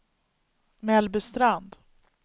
Mellbystrand